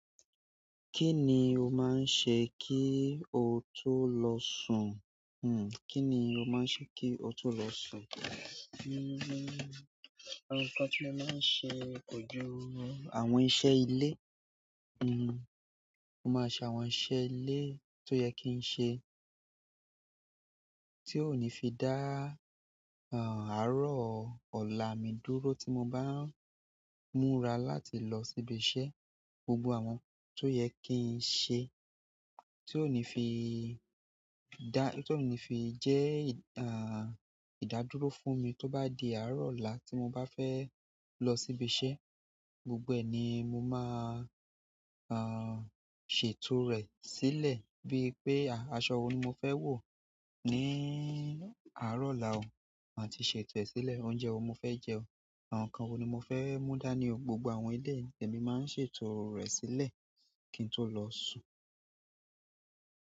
Kí ni o máa ń ṣe kí o tó lọ sùn? Kí ni o máa ń ṣe kí o tó lọ sùn? Nkan ti mo maa n se ko ju àwọn iṣẹ́ ile. Mo máa ṣe àwọn iṣẹ́ ilé tó yẹ kí n ṣe tí ó ní fi dá, àárọ̀ ọ̀la mi dúró tí mo bá ń múra láti lọ sí ibi iṣẹ́. Gbogbo àwọn tó yẹ kí n ṣe tí ó ní fi dá, tí ó ní fi jẹ́, ìdádúró fún mi tí ó bá di àárọ̀ ọ̀la tí mo bá fẹ́ lọ sí ibi iṣẹ́. Gbogbo ẹni mo máa, ṣètò rẹ̀ sílẹ̀ bíi pé aṣọ wo ni mo fẹ́ wọ̀ ní àárọ̀ ọ̀la ò. Màá ti ṣètò ẹ sílẹ̀. Oúnjẹ wo ni mo fẹ́ jẹ ọ. Àwọn ǹkan wo ni mo fẹ́ mú dání o. Gbogbo àwọn eléyìí ni èmi máa ń ṣètò rẹ̀ sílẹ̀ kí n tó lọ sùn.